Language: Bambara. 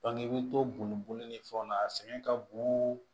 i bɛ to bunboli ni fɛnw na a sɛgɛn ka bon